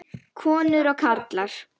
Konur og karlar.